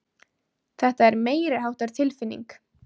Þetta er meiriháttar tilfinning.